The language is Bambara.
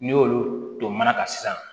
N'i y'olu to mana kan sisan